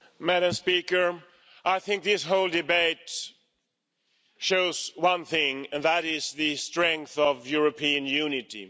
Madam President, I think this whole debate shows one thing and that is the strength of European unity.